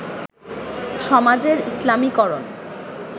সমাজের ইসলামীকরণ